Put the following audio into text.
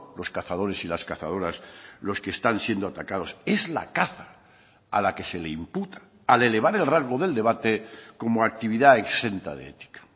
los cazadores y las cazadoras los que están siendo atacados es la caza a la que se le imputa al elevar el rango del debate como actividad exenta de ética